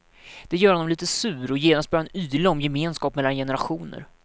Det gör honom lite sur, och genast börjar han yla om gemenskap mellan generationer.